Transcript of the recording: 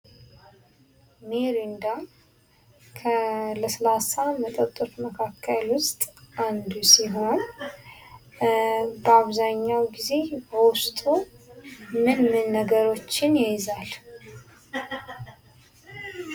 ሚሪንዳ ከ ለስላሳ መጠጦች መካከል ውስጥ አንዱ ሲሆን፤ በአብዛኛው ጊዜ በውስጡ ምን ምን ነገሮችን ይይዛል?